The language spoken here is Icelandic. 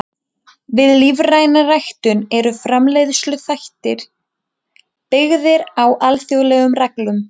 Við lífræna ræktun eru framleiðsluhættir byggðir á alþjóðlegum reglum.